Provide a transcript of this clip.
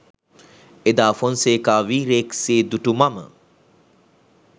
එදා ෆොන්සේකා වීරයෙක් සේ දුටු මම